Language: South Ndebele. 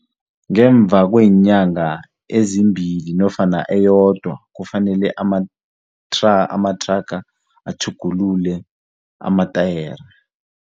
Ngemva kweenyanga ezimbili nofana eyodwa kufanele amathraga atjhugulule amatayere.